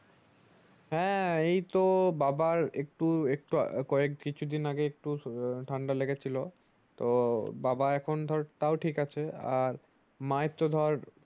হ্যাঁ এইতো বাবার একটু একটু কয়েক কয়েকদিন আগে একটু ও ঠান্ডা লেগেছিলো তো বাবা এখন ধর তাও ঠিক আছে আর মায়ের তো ধর ।